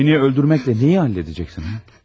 Məni öldürməklə nəyi həll edəcəksən?